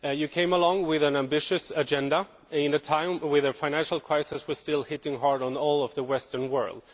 Mr Renzi, you came along with an ambitious agenda at a time when the financial crisis was still hitting hard on all of the Western world.